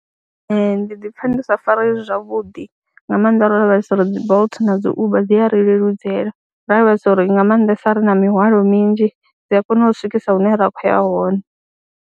Ee, ndi ḓi pfha ndi sa fareyi zwavhudi nga maanḓa ro lavhelesa uri dzi Bolt na dzi Uber dzi a ri leludzela ro lavhelesa uri nga maanḓesa ri na mihwalo minzhi dzi a kona u swikisa hune ra khou ya hone.